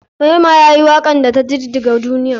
Rema yayi wakar da ta jijjiga duniya.